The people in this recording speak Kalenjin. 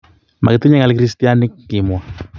"Makitinye ng'al kristianik,"kimwa.